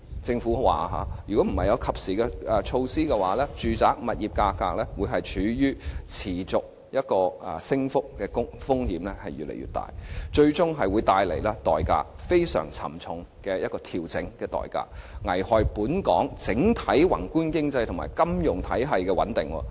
政府表示，若不及時推出措施，住宅物業價格處於持續升幅的風險越來越大，最終會帶來非常沉重的調整代價，危害本港整體宏觀經濟及金融體系穩定。